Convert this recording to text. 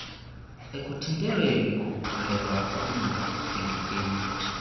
ekuthintelweni kokukhulelwa okungadingekiyo